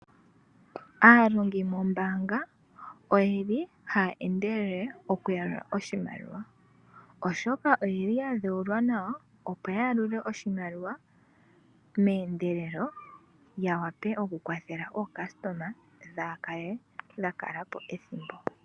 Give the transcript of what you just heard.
Aalongi moombaanga oye li haya endelele okuyalula oshimaliwa, oshoka oye li ya dhewulwa nawa opo ya yalule oshimaliwa meendelelo, ya wape okukwathela aayakulwa yaa kale ya kala po ethimbo.